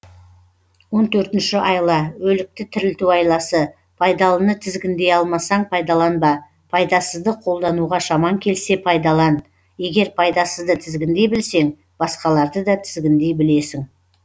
он төртінші айла өлікті тірілту айласы пайдалыны тізгіндей алмасаң пайдаланба пайдасызды қолдануға шамаң келсе пайдалан егер пайдасызды тізгіндей білсең басқаларды да тізгіндей білесің